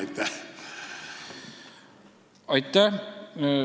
Aitäh!